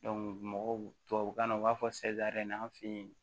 mɔgɔw tubabukan na u b'a fɔ an fe yen